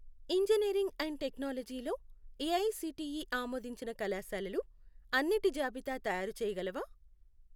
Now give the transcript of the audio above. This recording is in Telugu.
ఇంజనీరింగ్ అండ్ టెక్నాలజీ లో ఏఐసిటిఈ ఆమోదించిన కళాశాలలు అన్నిటి జాబితా తయారుచేయగలవా?